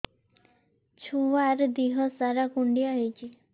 ଛୁଆର୍ ଦିହ ସାରା କୁଣ୍ଡିଆ ହେଇଚି